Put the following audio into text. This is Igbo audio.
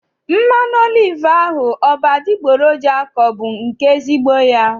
Mmanụ oliv ahụ ọ bụ adịgboroja ka ọ bụ nke ezigbo ya?